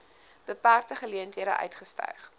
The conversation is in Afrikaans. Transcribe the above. beperkte geleenthede uitgestyg